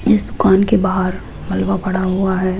इस दुकान के बाहर मलवा पड़ा हुआ है।